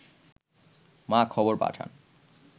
মা খবর পাঠান